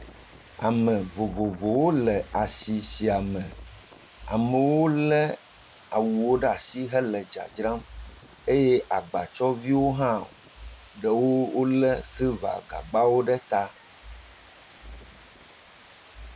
Ame vovovowo le asi siame. Amewo lé awuwo ɖe asi hele dzadzram. Eye agbatsɔviwo hã ɖewo wolé silivagagbawo ɖe ta